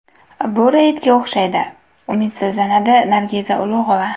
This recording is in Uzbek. Bu reydga o‘xshaydi”, umidsizlanadi Nargiza Ulug‘ova.